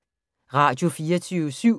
Radio24syv